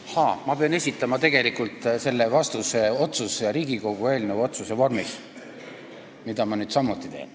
Ahaa, ma pean tegelikult selle vastuse esitama Riigikogu otsuse eelnõu vormis, mida ma nüüd teengi.